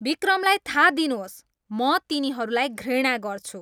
बिक्रमलाई थाहा दिनुहोस् म तिनीहरूलाई घृणा गर्छु